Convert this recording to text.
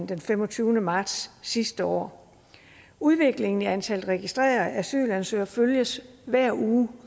den femogtyvende marts sidste år udviklingen i antallet af registrerede asylansøgere følges hver uge